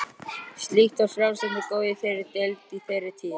Slíkt var frjálslyndið góða í þeirri deild í þeirri tíð.